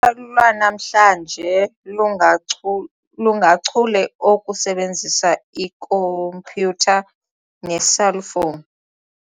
lwanamhla lungachule okusebenzisa ikhompyutha neeselfowuni.